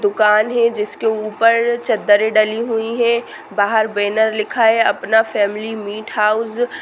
दूकान है जिसके ऊपर चदरे डली हुई है बाहर बैनर लिखा है अपना फैमिली मीट हाउस।